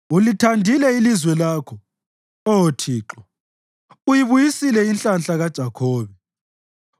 Ulithandile ilizwe lakho, Oh Thixo; uyibuyisile inhlanhla kaJakhobe.